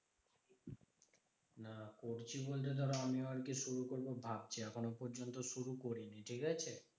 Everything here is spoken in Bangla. না করছি বলতে ধরো আমিও আরকি শুরু করবো ভাবছি। এখনও পর্যন্ত শুরু করিনি, ঠিকাছে?